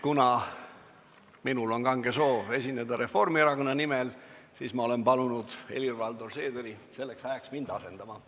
Kuna minul on kange soov esineda Reformierakonna nimel, siis ma olen palunud Helir-Valdor Seederi selleks ajaks mind asendama.